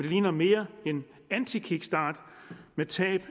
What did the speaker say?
ligner mere en antikickstart med tab